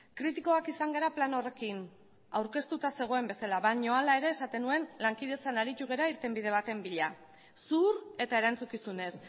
kritikoak izan gara plan horrekin aurkeztuta zegoen bezala baina hala ere esaten nuen lankidetzan aritu gara irtenbide baten bila zuhur eta erantzukizunez